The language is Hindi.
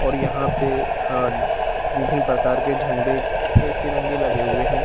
और यहा पे अ विभिन्न प्रकार के झंडे के तिरंगे लगे हुए हैं।